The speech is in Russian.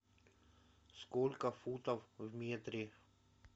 сколько футов в метре